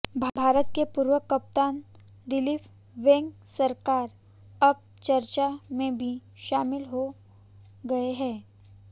भारत के पूर्व कप्तान दिलीप वेंगसरकर अब चर्चा में भी शामिल हो गए हैं